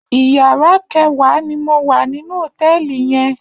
Iyàrâ kèwá ni mó wá ninú hótèlí yèn